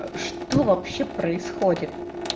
что вообще происходит